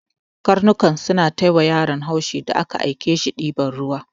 Karnukan suna ta yiwa yaron haushi da aka ake shi diban ruwa.